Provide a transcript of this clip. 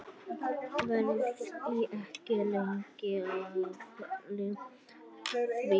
Verð ekki lengi að því.